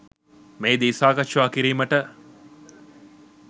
මෙහිදී සාකච්ඡා කිරීමට